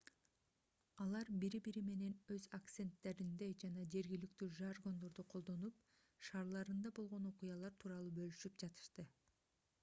алар бири-бири менен өз акценттеринде жана жергиликтүү жаргондорду колдонуп шаарларында болгон окуялар тууралуу бөлүшүп жатышты